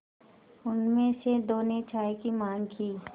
उनमें से दो ने चाय की माँग की